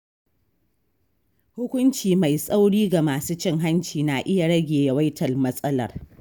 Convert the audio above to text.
Hukunci mai tsauri ga masu cin hanci na iya rage yawaitar matsalar.